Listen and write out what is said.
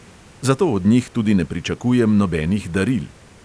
Zato od njih tudi ne pričakujem nobenih daril.